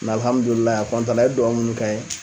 a na a ye duwawu munnu k'an ye.